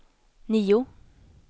nio